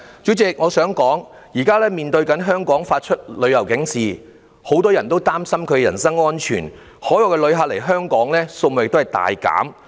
主席，我想說，現時多國對香港發出旅遊警示，很多人擔心人身安全，海外旅客來港數目大減。